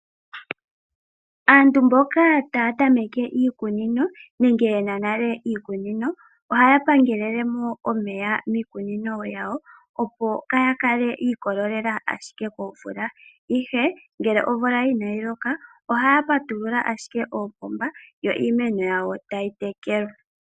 Aantu mboka taya tameke iikunino nenge yena nale iikunino ohaya pangelelemo omeya miikunino yawo opo kaya kale yiikolelela ashike komvula ihe ngele omvula inayi loka ohaya patulula ashike oopomba yo iimeno yawo tayi tekelwa.